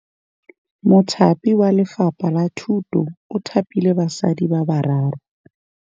Mothapi wa Lefapha la Thutô o thapile basadi ba ba raro.